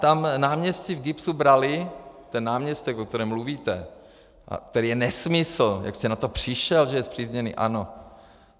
Tam náměstci v GIBS brali, ten náměstek, o kterém mluvíte - a který je nesmysl, jak jste na to přišel, že je spřízněný ANO?